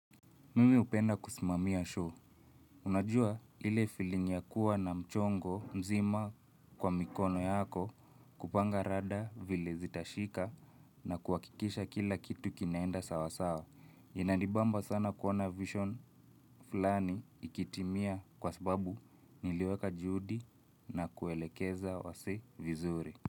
Mimi upenda kusimamia show. Unajua ile feeling ya kuwa na mchongo mzima kwa mikono yako kupanga rada vile zitashika na kuakikisha kila kitu kinaenda sawa sawa. Inanibamba sana kuona vision fulani ikitimia kwa sababu niliweka juhudi na kuelekeza wasee vizuri.